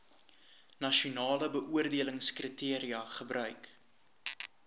nasionale beoordelingskriteria gebruik